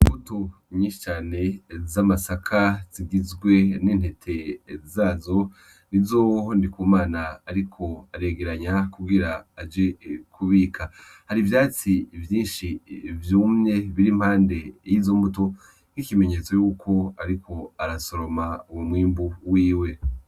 Mbuto inyicane z'amasaka zigizwe n'entete zazo ni zoho ndikumana, ariko aregeranya kugira aje kubika hari ivyatsi vyinshi vyumye biri mpande y'izo mbuto nk'ikimenyetso yuko, ariko arasoroma uwu mwimbu wiwe.